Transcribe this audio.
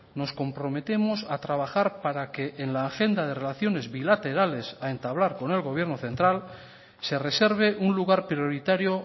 nos comprometemos a trabajar para que en la agenda de relaciones bilaterales a entablar con el gobierno central se reserve un lugar prioritario